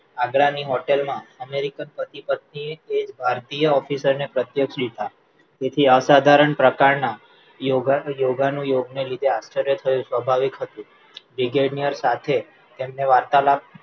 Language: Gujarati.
આગ્રાની હોટલમાં અમેરિકન પતિ પત્ની એજ ભારતીય officer ને પ્રત્યક્ષ લીધા તેથી અસાધારણ પ્રકારના યોગા યોગા નું યોગને લીધા આશ્ચર્ય થયું સ્વાભાવિક હતું brigadier સાથે તેમને વાર્તાલાપ